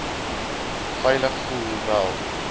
veilig voel hoewel